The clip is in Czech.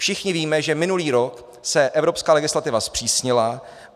Všichni víme, že minulý rok se evropská legislativa zpřísnila.